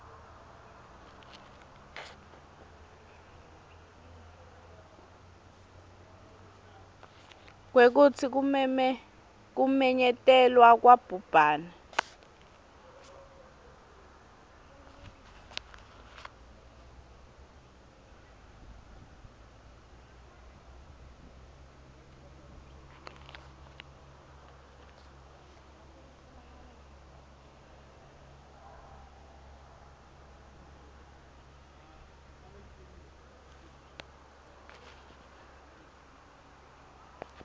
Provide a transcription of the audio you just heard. kwekutsi kumenyetelwa kwabhubhane